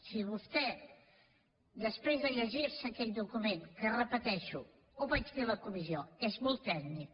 si vostè després de llegir se aquell document que ho repeteixo ho vaig dir a la comissió és molt tècnic